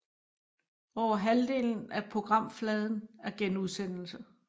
Over halvdelen af programfladen er genudsendelser